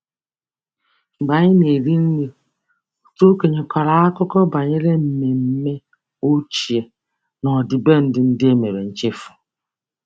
Mgbe anyị na-eri nri, otu okenye kọrọ akụkọ banyere mmemme ochie na ọdịbendị ndị e mere nchefu.